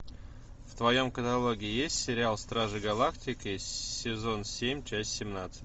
в твоем каталоге есть сериал стражи галактики сезон семь часть семнадцать